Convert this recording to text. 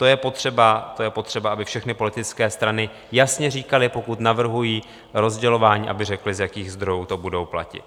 To je potřeba, aby všechny politické strany jasně říkaly, pokud navrhují rozdělování, aby řekly, z jakých zdrojů to budou platit.